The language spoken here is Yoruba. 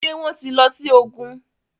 ṣe wón tí ló sì ògún?